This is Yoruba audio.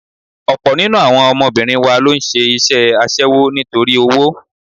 Ọ̀pọ̀ nínú àwọn ọmọbìnrin wa ló ń ṣe iṣẹ́ aṣẹ́wó nítorí owó.